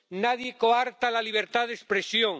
Nadie coarta la libertad de expresión.